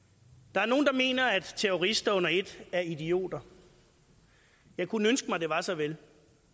der er nogle der mener at terrorister under ét er idioter jeg kunne ønske mig det var så vel